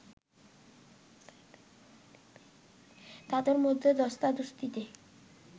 তাদের মধ্যে ধস্তাধস্তিতে